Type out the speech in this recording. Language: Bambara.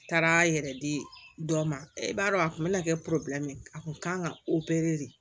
Taara yɛrɛ di dɔ ma e b'a dɔn a kun be na kɛ a kun kan ka de